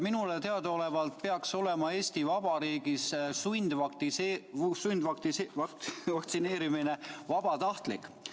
Minule teadaolevalt peaks olema Eesti Vabariigis vaktsineerimine vabatahtlik.